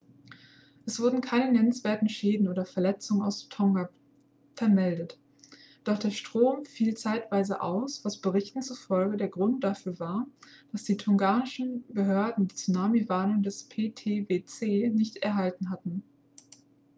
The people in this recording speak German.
es wurden keine nennenswerten schäden oder verletzungen aus tonga vermeldet doch der strom fiel zeitweise aus was berichten zufolge der grund dafür war dass die tongaischen behörden die tsunami-warnung des ptwc nicht erhalten hatten